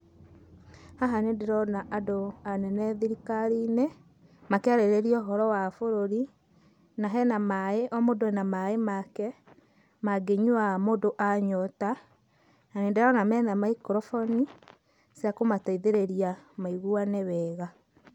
Haha nĩ ndĩrona andũ anene thirikari-inĩ, makĩarĩrĩria ũhoro wa bũrũri, na hena maĩ, o mũndũ e na maĩ make, mangĩnyua mũndũ anyota, na nĩndĩrona mena maikroboni cia kũmateithĩrĩria maiguane wega.